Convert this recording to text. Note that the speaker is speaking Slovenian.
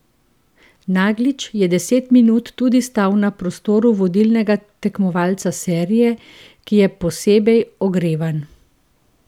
Naglič je deset minut tudi stal na prostoru vodilnega tekmovalca serije, ki je posebej ogrevan.